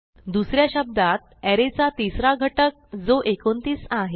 दुस या शब्दात अरे चा तिसरा घटक जो 29 आहे